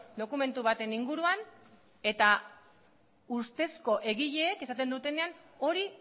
dokumentu baten inguruan eta ustezko egileek esaten dutenean hori